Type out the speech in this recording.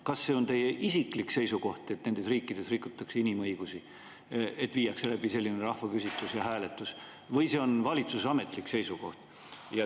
Kas see on teie isiklik seisukoht, et nendes riikides rikutakse inimõigusi, kui viiakse läbi selline rahvaküsitlus ja ‑hääletus, või see on valitsuse ametlik seisukoht?